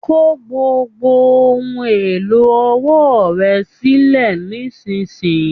Kò gbogbo ohùn èlò ọwọ́ rẹ sílẹ nisinyi!